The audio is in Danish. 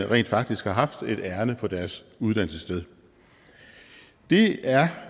rent faktisk har haft et ærinde på deres uddannelsessted det er